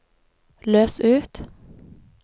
løs ut